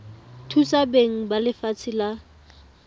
thusa beng ba lefatshe la